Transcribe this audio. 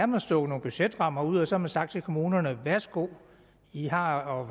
man stukket nogle budgetrammer ud og så har man sagt til kommunerne værsgo i har